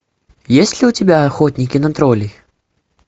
есть ли у тебя охотники на троллей